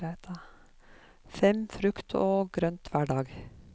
Fem frukt og grønt, hver dag.